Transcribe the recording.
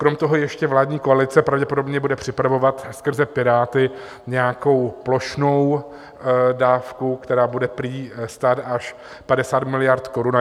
Krom toho ještě vládní koalice pravděpodobně bude připravovat skrze Piráty nějakou plošnou dávku, která bude prý stát až 50 miliard korun.